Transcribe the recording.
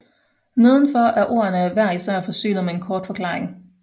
Nedenfor er ordene hver især forsynet med en kort forklaring